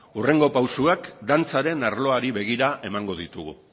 hurrengo pausuak dantzaren arloari begira emango ditugu